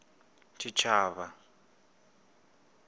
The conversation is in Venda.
tshitshavha